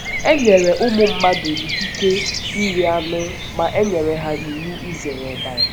E nyere ụmụ mmadụ ikike iri anụ ma e nyere ha iwu izere ọbara.